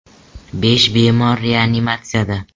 Besh bemor reanimatsiyada.